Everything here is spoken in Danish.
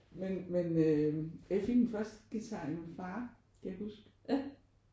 Men men øh jeg fik min første guitar af min far kan jeg huske